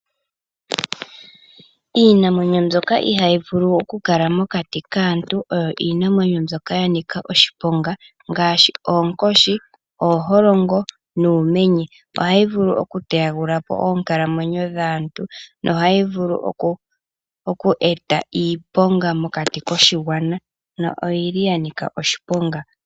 Iinamwenyo mbyoka ihayi vulu okukala mokati kaantu oyo iinamwenyo mbyoka ya nika oshiponga ngaashi oonkoshi, ooholongo nuumenye, ohayi vulu oku teyagulapo oonkalamwenyo dhaantu nohayi vulu oku eta iiponga mokati koshigwana na oyili ya nika oshiponga.